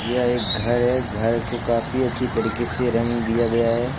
यह घर है घर को काफी अच्छी तरीके से रंग दिया गया है।